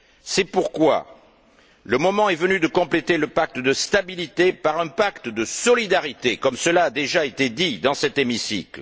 C'est pourquoi, le moment est venu de compléter le pacte de stabilité par un pacte de solidarité, comme cela a déjà été dit, dans cet hémicycle.